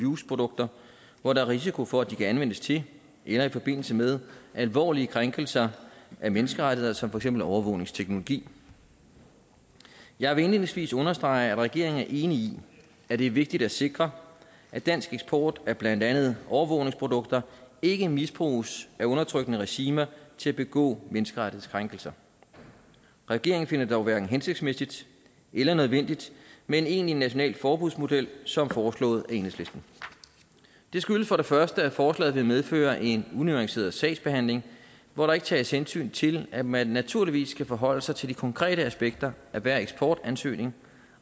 use produkter hvor der er risiko for at de kan anvendes til eller i forbindelse med alvorlige krænkelser af menneskerettigheder som for eksempel overvågningsteknologi jeg vil indledningsvis understrege at regeringen er enig i at det er vigtigt at sikre at dansk eksport af blandt andet overvågningsprodukter ikke misbruges af undertrykkende regimer til at begå menneskerettighedskrænkelser regeringen finder det dog hverken hensigtsmæssigt eller nødvendigt med en egentlig national forbudsmodel som foreslået af enhedslisten det skyldes for det første at forslaget vil medføre en unuanceret sagsbehandling hvor der ikke tages hensyn til at man naturligvis skal forholde sig til de konkrete aspekter af hver eksportansøgning